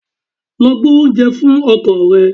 Lọ gbé oúnjẹ fún ọkọ rẹ!